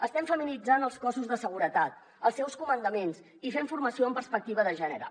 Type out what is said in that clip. estem feminitzant els cossos de seguretat els seus comandaments i fent formació amb perspectiva de gènere